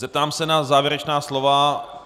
Zeptám se na závěrečná slova.